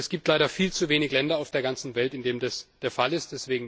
Es gibt leider viel zu wenige Länder auf der ganzen Welt, in denen das der Fall ist.